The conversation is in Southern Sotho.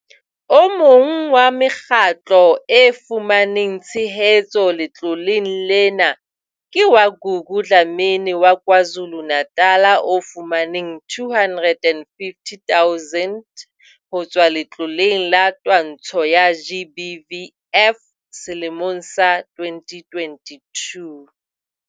O mong wa mekgatlo e fumaneng tshehetso letloleng lena ke wa Gugu Dlamini wa KwaZulu-Natal o fumaneng R250 000 ho tswa Letloleng la Twantsho ya GBVF selemong sa 2022.